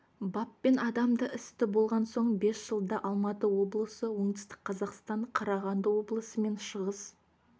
баппен адам істі болған соңғы бес жылда алматы облысы оңтүстік қазақстан қарағанды облысы мен шығыс